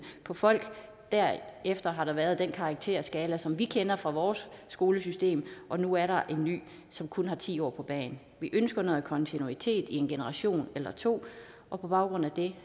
på folk derefter har der været den karakterskala som vi kender fra vores skolesystem og nu er der en ny som kun har ti år på bagen vi ønsker noget kontinuitet i en generation eller to og på baggrund af det